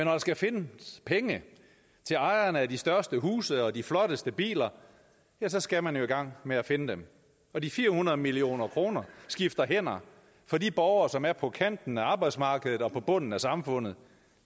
man skal finde penge til ejerne af de største huse og de flotteste biler skal man jo i gang med at finde dem og de fire hundrede million kroner skifter hænder fra de borgere som er på kanten af arbejdsmarkedet og på bunden af samfundet